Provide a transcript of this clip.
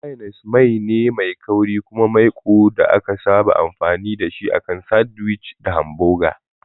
Mayones mai ne mai kauri kuma maiko da aka saba amfani da shi akan sandwich da hamboga.